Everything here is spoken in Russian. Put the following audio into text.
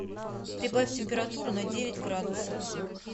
прибавь температуру на девять градусов